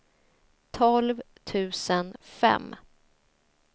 tolv tusen fem